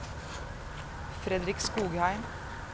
Fredrik Skogheim